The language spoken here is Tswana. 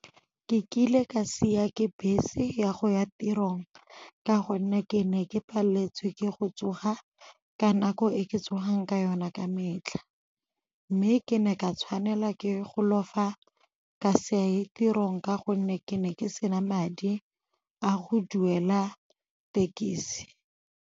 Ke kile ka siwa ke bese ya go ya tirong ka go nne ke ne ke paletswe ke go tsoga ka nako e ke tsogang ka yona ka metlha, mme ke ne ka tshwanela ke go lofa ka saye tirong ka gonne ke ne ke sena madi a go duela thekisi.